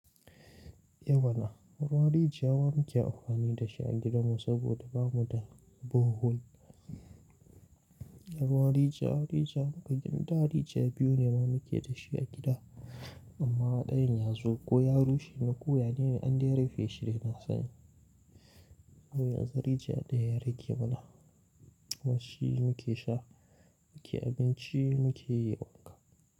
Eh mana, Ruwan rijiya wa muke amfani da shi a gidanmu saboda bamu da borehole. Ruwan rijiya, rijiya muka gina da rijiya biyu ne ma muke da shi a gida. Amma ɗayan ya zo ko ya rushe ne ko ya dai ne, an dai rufe shi dai na sani. Dan yanzu rijiya ɗaya yake mana. Wai shi muke sha, muke abinci, muke wanka.